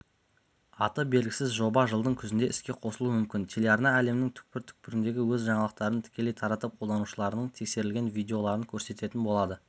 аты белгісіз жоба жылдың күзінде іске қосылуы мүмкін телеарна әлемнің түкпір-түкпіріндегі өз жаңалықтарын тікелей таратып қолданушыларының тексерілген видеоларын көрсететін болады